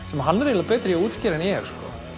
sem hann er betri í að útskýra en ég